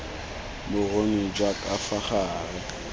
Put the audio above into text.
boruni jwa ka fa gare